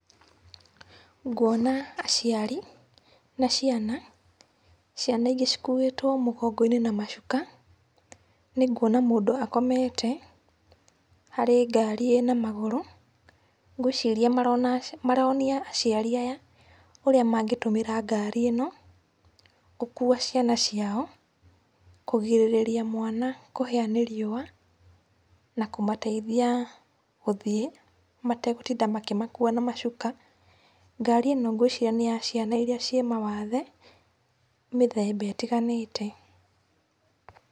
Nguona aciarĩ na ciana, ciana ingĩ cikũĩtwo mũgongo-inĩ na macuka. Nĩ nguona mũndũ akomete harĩ ngaari ĩna magũrũ. Ngwĩciria maronia aciari aya ũrĩa mangĩtũmĩra ngaari ĩno gũkuua ciana ciao, kũgĩrĩrĩria kũhĩa nĩ riũa na kũmateithia gũthiĩ mategũtinda makĩmakua na macuka. Ngaari ĩno ngwĩciria nĩya ciana iria ciĩ mawathe mĩthemba ĩtiganĩte.